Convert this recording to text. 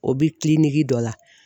O bi dɔ la